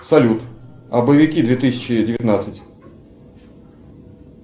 салют боевики две тысячи девятнадцать